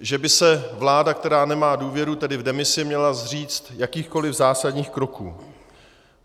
že by se vláda, která nemá důvěru, tedy v demisi, měla zříct jakýchkoli zásadních kroků.